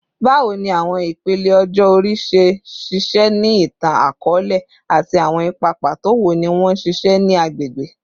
Bawo ni awọn ipele ọjọ ori ṣe ṣiṣẹ ni itan-akọọlẹ, ati awọn ipa pato wo ni wọn ṣiṣẹ ni agbegbe?